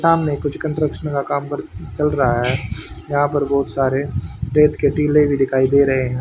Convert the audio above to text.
सामने कुछ कंट्रक्शन का काम चल रा है यहां पर बहुत सारे रेत के टीले भी दिखाई दे रहे है।